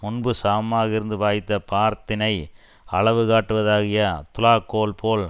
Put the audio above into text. முன்பு சமமாக இருந்து வாய்த்த பாரத்தினை அளவு காட்டுவதாகிய துலாக்கோல்போல்